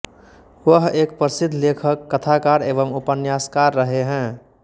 वह एक प्रसिद्ध लेखक कथाकार एवं उपन्यासकार रहे हैं